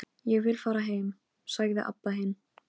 Hvernig heldurðu að hægt sé að búa til annað eins?